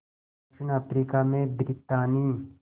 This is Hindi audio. दक्षिण अफ्रीका में ब्रितानी